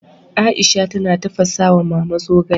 Aisha tana tafasa wa Mama zogale